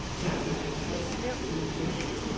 Haslev